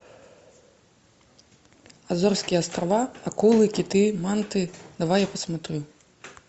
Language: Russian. азорские острова акулы киты манты давай я посмотрю